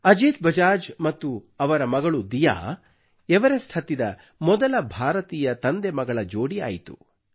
ಅಜೀತ್ ಬಜಾಜ್ ಮತ್ತು ಅವರ ಮಗಳು ದಿಯಾ ಎವರೆಸ್ಟ್ ಹತ್ತಿದ ಮೊದಲ ಭಾರತೀಯ ತಂದೆಮಗಳ ಜೋಡಿ ಆಯಿತು